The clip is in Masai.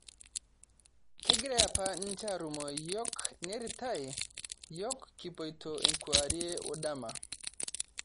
Kegirae apa ninye arumoo yiok niaritai yiok kipoito enkewarie woe endama